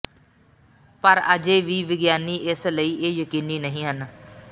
ਪਰ ਅਜੇ ਵੀ ਵਿਗਿਆਨੀ ਇਸ ਲਈ ਇਹ ਯਕੀਨੀ ਨਹੀ ਹਨ